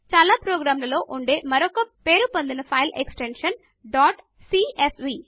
చాలా ప్రోగ్రాములలో ఉండే మరొక పేరు పొందిన file extension dot CSV